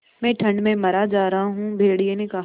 मैं ठंड में मरा जा रहा हूँ भेड़िये ने कहा